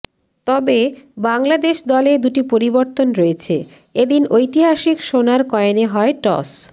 তবে বাংলাদেশ দলে দুটি পরিবর্তন রয়েছে এদিন ঐতিহাসিক সোনার কয়েনে হয় টস